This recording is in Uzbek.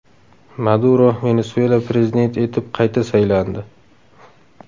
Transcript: Maduro Venesuela prezidenti etib qayta saylandi.